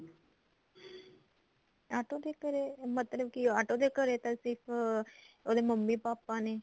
auto ਦੇ ਘਰੇ ਮਤਲਬ ਕਿ ਆਟੋ ਦੇ ਘਰੇ ਤਾਂ ਸਿਰਫ ਉਹਦੇ ਮੰਮੀ ਪਾਪਾ ਨੇ